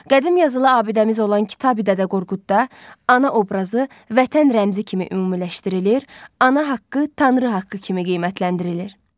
Qədim yazılı abidəmiz olan Kitabi-Dədə Qorqudda ana obrazı vətən rəmzi kimi ümumiləşdirilir, ana haqqı Tanrı haqqı kimi qiymətləndirilir.